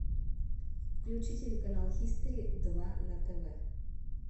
включи телеканал хистори два на тв